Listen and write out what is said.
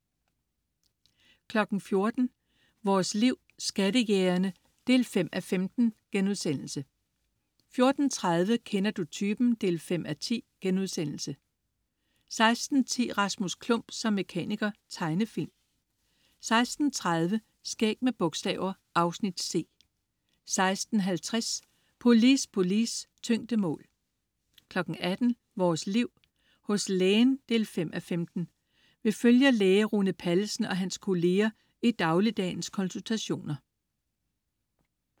14.00 Vores Liv. Skattejægerne 5:15* 14.30 Kender du typen? 5:10* 16.10 Rasmus Klump som mekaniker. Tegnefilm 16.30 Skæg med bogstaver. Afsnit C 16.50 Polis, polis. Tyngdemål 18.00 Vores Liv. Hos Lægen 5:15. Vi følger læge Rune Pallesen og hans kolleger i dagligdagens konsultationer